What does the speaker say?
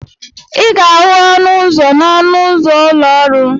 Ị ga-ahụ ọnụ ụzọ n'ọnụ ụzọ ụlọ ọrụ.